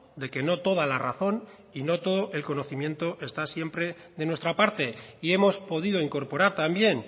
de que no toda la razón y no todo el conocimiento esta siempre de nuestra parte y hemos podido incorporar también